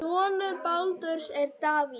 Sonur Baldurs er Davíð.